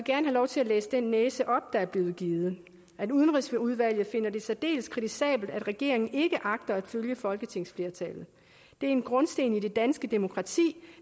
lov til at læse den næse op der er blevet givet i udvalget finder det særdeles kritisabelt at regeringen ikke agter at følge folketingsflertallet det er en grundsten i det danske demokrati